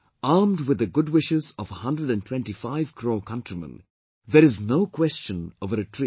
Armed with the good wishes of a hundred and twenty five crore countrymen, there is no question of a retreat